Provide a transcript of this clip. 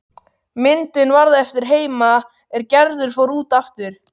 Myndin varð eftir heima er Gerður fór út aftur.